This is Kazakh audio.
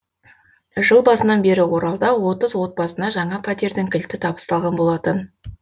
жыл басынан бері оралда отыз отбасына жаңа пәтердің кілті табысталған болатын